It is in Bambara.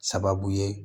Sababu ye